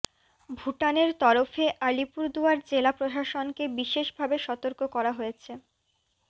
ভুটানের তরফে আলিপুরদুয়ার জেলা প্রশাসনকে বিশেষ ভাবে সতর্ক করা হয়েছে